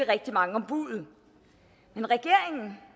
rigtig mange om buddet men regeringen